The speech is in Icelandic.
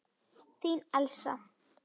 Þín Elsa.